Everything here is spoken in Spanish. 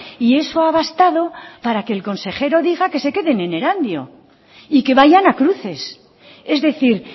y eso ha bastado para que el consejero diga que se queden en erandio y que vayan a cruces es decir